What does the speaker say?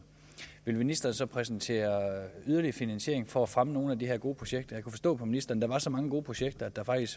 vil ministeren så præsentere yderligere finansiering for at fremme nogle af de her gode projekter jeg kunne forstå på ministeren er så mange gode projekter at der faktisk